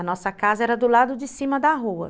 A nossa casa era do lado de cima da rua.